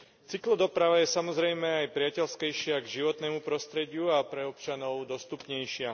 Cyklodoprava je samozrejme aj priateľskejšia k životnému prostrediu a pre občanov dostupnejšia.